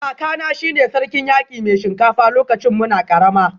Kakana shi ne Sarkin Yaki Mai Shinkafa lokacin muna karama